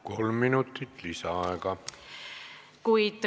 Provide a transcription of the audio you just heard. Kolm minutit lisaaega.